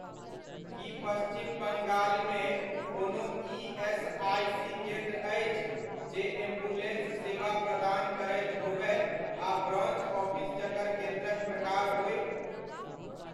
की पश्चिम बंगालमे कोनो ईएसआइसी केन्द्र अछि जे एम्बुलेन्स सेवा प्रदान करैत होबय आ ब्रान्च ऑफिस जकर केन्द्रक प्रकार होय?